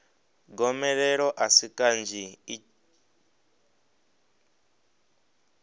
gomelelo a si kanzhi i